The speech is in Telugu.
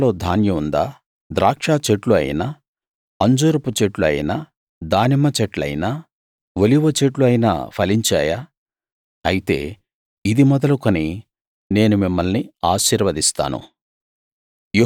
కొట్లలో ధాన్యం ఉందా ద్రాక్ష చెట్లు అయినా అంజూరపు చెట్లు అయినా దానిమ్మ చెట్లయినా ఒలీవ చెట్లు అయినా ఫలించాయా అయితే ఇది మొదలు నేను మిమ్మల్ని ఆశీర్వదిస్తాను